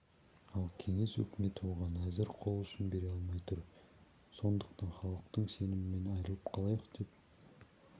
ал кеңес өкіметі оған әзір қол ұшын бере алмай тұр сондықтан халықтың сенімінен айырылып қалайық деп